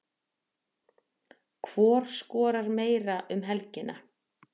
Hvor skorar meira um helgina?